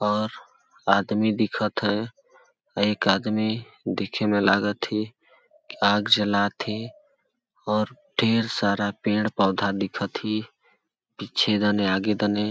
और आदमी दिखत हे एक आदमी दिखे में लागथे आग जलात थे और ढेर सारा पेड़-पौधा दिखथे पीछे कने आगे कने--